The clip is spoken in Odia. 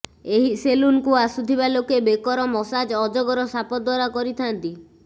ଏହି ସେଲୁନ୍କୁ ଆସୁଥିବା ଲୋକେ ବେକର ମସାଜ ଅଜଗର ସାପ ଦ୍ୱାରା କରିଥାନ୍ତି